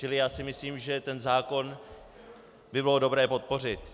Čili já si myslím , že ten zákon by bylo dobré podpořit.